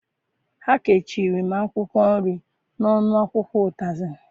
Ha kechiri m akwụkwọ nri n'ọnụ akwụkwọ ụtazị.